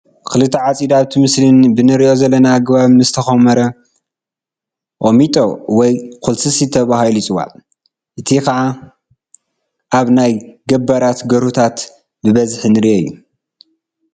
እኽሊ ተዓፂዱ ኣብቲ ምስሊ ብንሪኦ ዘለና ኣገባብ ምስተኾመረ ቁሚጦ ወይ ኩልስስቲ ተባሂሉ ይፅዋዕ፡፡ እቲ ከዓ ኣብ ናይ ገባራት ገርሁታት ብብዝሒ ንሪኦ እዩ፡፡